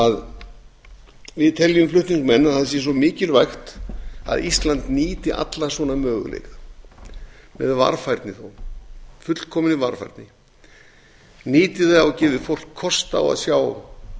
að við teljum flutningsmenn að það sé svo mikilvægt að ísland nýti alla svona möguleika með varfærni þó fullkominni varfærni nýti þá og gefi fólki kost á að sjá